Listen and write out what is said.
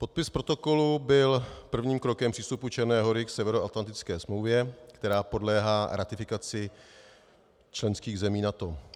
Podpis protokolu byl prvním krokem přístupu Černé Hory k Severoatlantické smlouvě, která podléhá ratifikaci členských zemí NATO.